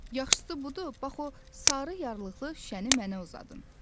Yaxşısı budur, bax o sarı yarlıqlı şüşəni mənə uzadın.